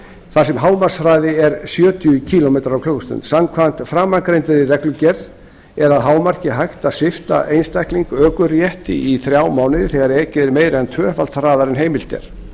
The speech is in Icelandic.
þar sem hámarkshraði er sjötíu kílómetrar á klukkustund samkvæmt framangreindri reglugerð er að hámarki hægt að svipta einstakling ökurétti í þrjá mánuði þegar ekið er meira en tvöfalt hraðar en heimilt er